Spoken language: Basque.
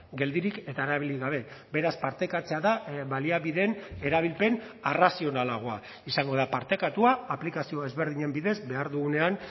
geldirik eta erabili gabe beraz partekatzea da baliabideen erabilpen arrazionalagoa izango da partekatua aplikazio ezberdinen bidez behar dugunean